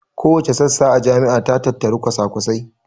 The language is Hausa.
Kowace sassa a jami'a ta tattari kwasakwasai